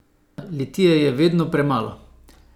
Litija je vedno premalo.